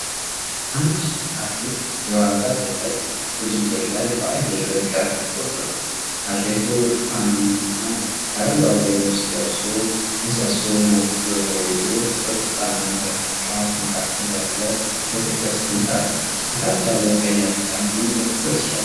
አንድ አትሌት የዋልታ ዝላይ ውድድር ላይ በአየር ላይ ከፍ ብሎአል። አትሌቱ ብርቱካንማና አረንጓዴ ልብስ ለብሶ፣ ምሰሶውን አጥብቆ ይዞ በቁጣና በፍርሃት መካከል ያለ የትኩረት ስሜት አለው። ከታች ያለው ቀይ አግዳሚ በትኩረት ይሻገራል።